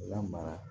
Lamara